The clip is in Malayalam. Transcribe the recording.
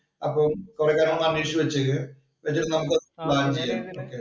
അപ്പൊ കൊറേ കാര്യങ്ങള്‍ അന്വേഷിച്ചു വച്ചേക്ക്. വച്ചിട്ട് നമുക്ക് പ്ലാന്‍ ചെയ്യാം.